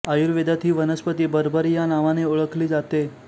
आयुर्वेदात ही वनस्पती बर्बरी या नावाने ओळखली जाते